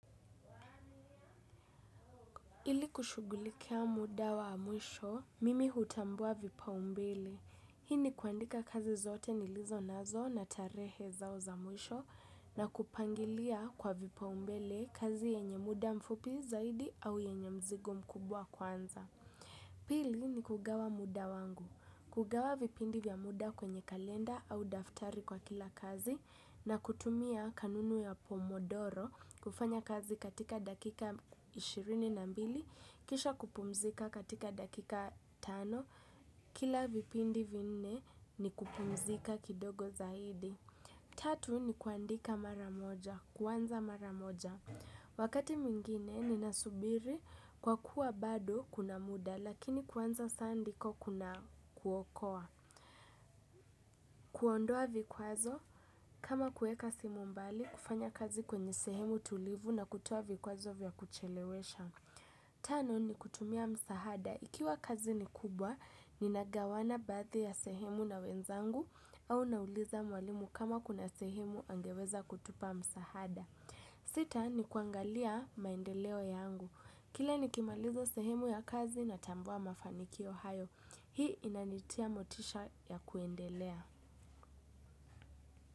Ili kushugulikia muda wa mwisho, mimi hutambua vipa umbele. Hii ni kuandika kazi zote nilizo nazo na tarehe zao za mwisho na kupangilia kwa vipa umbele kazi yenye muda mfupi zaidi au yenye mzigo mkubwa kwanza. Pili ni kugawa muda wangu, kugawa vipindi vya muda kwenye kalenda au daftari kwa kila kazi na kutumia kanunu ya pomodoro kufanya kazi katika dakika ishirini na mbili, kisha kupumzika katika dakika tano, kila vipindi vinne ni kupumzika kidogo zaidi. Tatu ni kuandika maramoja, kuanza maramoja. Wakati mwingine ninasubiri kwa kuwa bado kuna muda lakini kuanza saa ndiko kuna kuokoa. Kuondoa vikwazo kama kuweka simu mbali kufanya kazi kwenye sehemu tulivu na kutoa vikwazo vya kuchelewesha. Tano ni kutumia msahada. Ikiwa kazi ni kubwa, ninagawana baathi ya sehemu na wenzangu au nauliza mwalimu kama kuna sehemu angeweza kutupa msahada. Sita ni kuangalia maendeleo yangu. Kila nikimaliza sehemu ya kazi natambua mafanikio hayo. Hii inanitia motisha ya kuendelea.